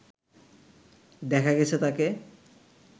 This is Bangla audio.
দেখা গেছে তাকে